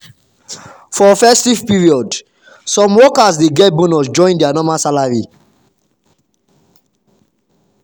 for festive period some workers dey get bonus join their normal salary.